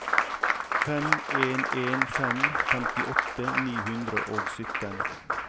fem en en fem femtiåtte ni hundre og sytten